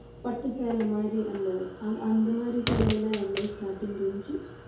பட்டு சேலை மாதிரி அந்த அந்~ அந்த மாதிரி சேலை எல்லாம் எவ்வளோ starting range